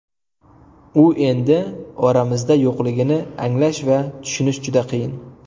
U endi oramizda yo‘qligini anglash va tushunish juda qiyin.